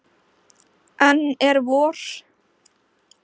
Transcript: Enn er vor.